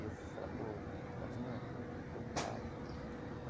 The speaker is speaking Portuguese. E eu falei, pô, Talismã eu estou preocupado.